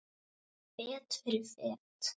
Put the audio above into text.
Fet fyrir fet.